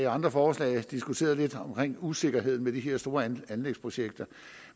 andre forslag diskuteret usikkerheden ved de her store anlægsprojekter